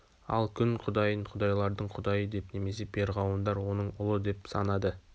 ал күн құдайын құдайлардың кұдайы деп немесе перғауындар оның ұлы деп санады